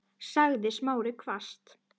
sagði Smári hvasst.